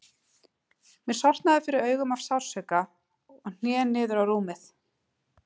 Mér sortnaði fyrir augum af sársauka og ég hné niður á rúmið.